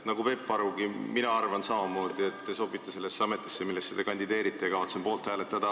Nagu Peep Aru, arvan mina samamoodi, et te sobite sellesse ametisse, kuhu te kandideerite, ja kavatsen poolt hääletada.